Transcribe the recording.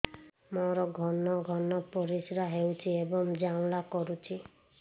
ମୋର ଘନ ଘନ ପରିଶ୍ରା ହେଉଛି ଏବଂ ଜ୍ୱାଳା କରୁଛି